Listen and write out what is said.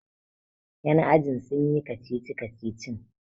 yan ajin sun yi kacici-kacicin!